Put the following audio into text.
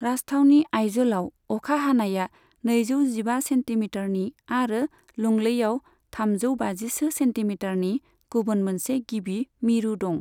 राजथावनि आइज'लाव अखा हानाया नैजौ जिबा सेन्टिमिटारनि आरो लुंलैआव थामजौ बाजिसो सेन्टिमिटारनि गुबुन मोनसे गिबि मिरु दं।